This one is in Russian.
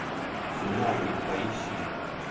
свинарник поищи